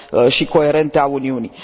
și coerente a Uniunii.